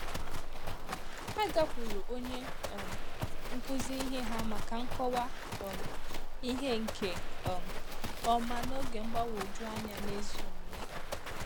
Hà gakwuru ònye um nkụzi ihe hà maka nkọwa um ihe nke um ọma n’oge mgbagwoju anya n’ezi omume.